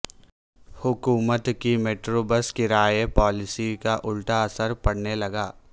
حکومت کی metro bus کرایہ پالیسی کا الٹا اثر پڑنے لگا